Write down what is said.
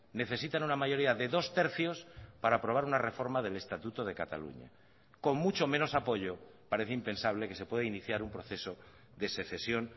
necesitan una mayoría de dos tercios para aprobar una reforma del estatuto de cataluña con mucho menos apoyo parece impensable que se pueda iniciar un proceso de secesión